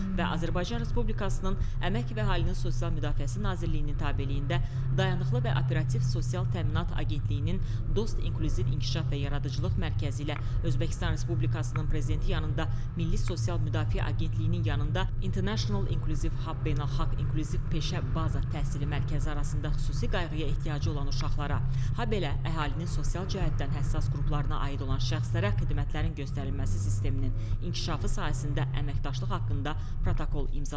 və Azərbaycan Respublikasının Əmək və Əhalinin Sosial Müdafiəsi Nazirliyinin tabeliyində “Dayanıqlı və Operativ Sosial Təminat Agentliyi”nin “Dost inklüziv inkişaf və yaradıcılıq mərkəzi” ilə Özbəkistan Respublikasının Prezidenti yanında “Milli Sosial Müdafiə Agentliyi”nin yanında “International İnclusive HUB Beynəlxalq İNKLÜZİV Peşə Baza Təhsili Mərkəzi” arasında xüsusi qayğıya ehtiyacı olan uşaqlara, habelə əhalinin sosial cəhətdən həssas qruplarına aid olan şəxslərə xidmətlərin göstərilməsi sisteminin inkişafı sahəsində əməkdaşlıq haqqında protokol imzalanıb.